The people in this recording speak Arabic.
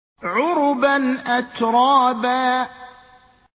عُرُبًا أَتْرَابًا